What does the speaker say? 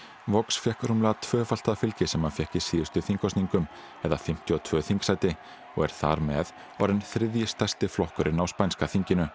vox fékk rúmlega tvöfalt það fylgi sem hann fékk í síðustu þingkosningum eða fimmtíu og tvö þingsæti og er þar með orðinn þriðji stærsti flokkurinn á spænska þinginu